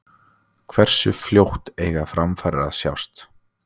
Hversu fljótt eiga framfarir að sjást?